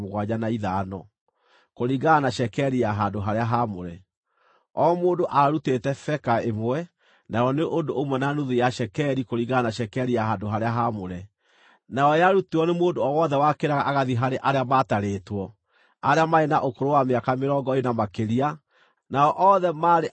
o mũndũ aarutĩte beka ĩmwe, nayo nĩ ũndũ ũmwe na nuthu ya cekeri, kũringana na cekeri ya handũ-harĩa-haamũre, nayo yarutirwo nĩ mũndũ o wothe wakĩraga agathiĩ harĩ arĩa maatarĩtwo, arĩa maarĩ na ũkũrũ wa mĩaka mĩrongo ĩĩrĩ na makĩria, nao othe maarĩ arũme 603,550.